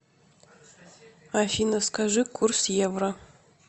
афина скажи курс евро